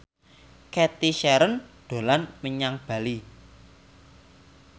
Cathy Sharon dolan menyang Bali